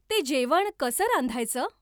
ते जेवण कसं रांधायचं?